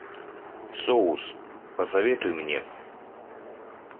соус посоветуй мне